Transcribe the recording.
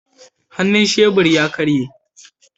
Hannun shebur ya karye